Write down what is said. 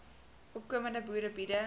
opkomende boere biede